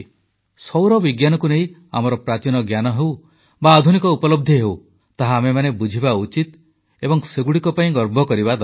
ସୌରବିଜ୍ଞାନକୁ ନେଇ ଆମର ପ୍ରାଚୀନ ଜ୍ଞାନ ହେଉ ବା ଆଧୁନିକ ଉପଲବ୍ଧି ହେଉ ତାହା ଆମେମାନେ ବୁଝିବା ଉଚିତ ଏବଂ ସେଗୁଡ଼ିକ ପାଇଁ ଗର୍ବ କରିବା ଦରକାର